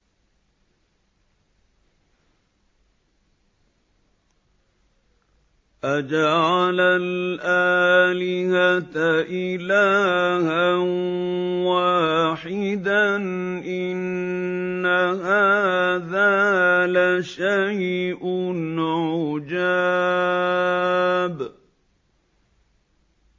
أَجَعَلَ الْآلِهَةَ إِلَٰهًا وَاحِدًا ۖ إِنَّ هَٰذَا لَشَيْءٌ عُجَابٌ